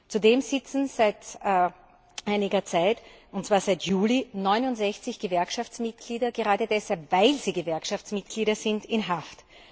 Zudem sitzen seit einiger Zeit, und zwar seit Juli, 69 Gewerkschaftsmitglieder gerade deshalb, weil sie Gewerkschaftsmitglieder sind, in Haft.